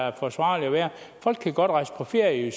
er forsvarligt at være folk kan godt rejse på ferie